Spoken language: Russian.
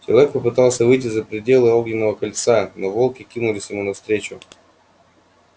человек попытался выйти за пределы огненного кольца но волки кинулись ему навстречу